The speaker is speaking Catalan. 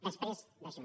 després d’això